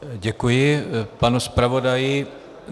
Děkuji panu zpravodaji.